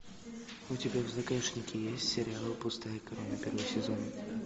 у тебя в загашнике есть сериал пустая корона первый сезон